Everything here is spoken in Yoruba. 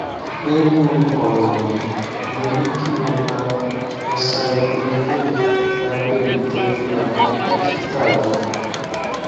nírú ọràn yìí mo ní kí o gba acyclovir lábẹ ìtọjú àwọn dókítà rẹ